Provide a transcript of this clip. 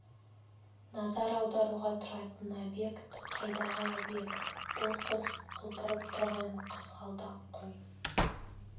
назар аударуға тұратын объект қайдағы объект бұл қыз құлпырып тұрған қызғалдақ қой